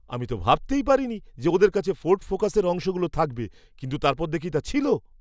আমি তো ভাবতেই পারিনি যে ওদের কাছে ফোর্ড ফোকাসের অংশগুলো থাকবে কিন্তু তারপর দেখি তা ছিল!